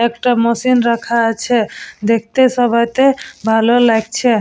একটা মেশিন রাখা আছে। দেখতে সবাইকে ভালো লাগছে।